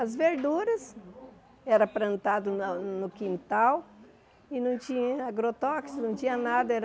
As verduras eram plantadas no no quintal e não tinha agrotóxicos, não tinha nada era.